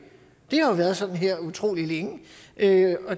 har været sådan her utrolig længe og det